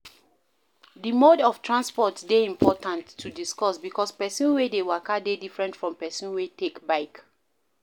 The mode of transport dey important to discuss because person wey dey waka dey different from person wey take bike